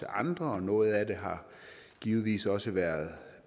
andre noget af det har givetvis også være